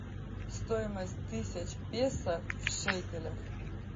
стоимость тысяч песо в шекелях